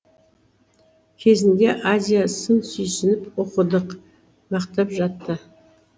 кезінде азия сын сүйсініп оқыдық мақтап жатты